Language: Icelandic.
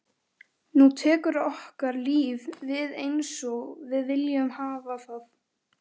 Nú tekur okkar líf við einsog við viljum hafa það.